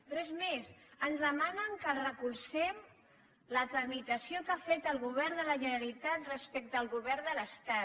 però és més ens demanen que els recolzem la tramitació que ha fet el govern de la generalitat respecte al govern de l’estat